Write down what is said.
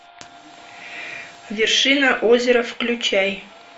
вершина озера включай